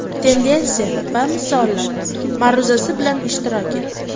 Tendensiya va misollar” ma’ruzasi bilan ishtirok etdi.